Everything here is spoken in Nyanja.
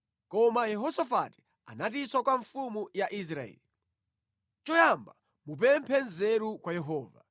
Koma Yehosafati anatinso kwa mfumu ya Israeli, “Choyamba mupemphe nzeru kwa Yehova.”